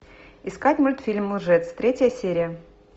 искать мультфильм лжец третья серия